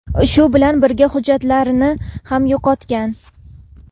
Shu bilan birga hujjatlarini ham yo‘qotgan.